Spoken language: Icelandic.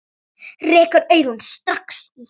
Rekur augun strax í hjólið.